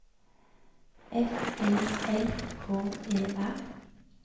F Y L K E R